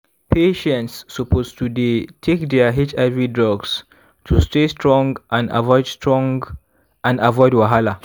patients suppose to dey take their hiv drugs to stay strong and avoid strong and avoid wahala.